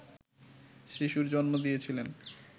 শিশুর জন্ম দিয়েছিলেন